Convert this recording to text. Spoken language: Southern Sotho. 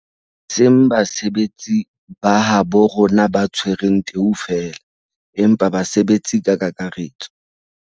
E seng ba basebetsi ba habo rona ba tshwereng teu feela, empa ba basebetsi ka kakaretso.